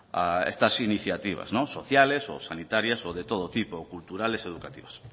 a estas iniciativas sociales o sanitarias o de todo tipo culturales educativas